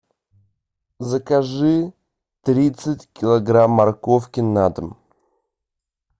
закажи тридцать килограмм морковки на дом